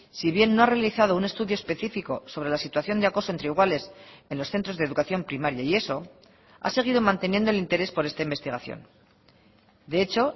si bien no ha realizado un estudio específico sobre la situación de acoso entre iguales en los centros de educación primaria y eso ha seguido manteniendo el interés por esta investigación de hecho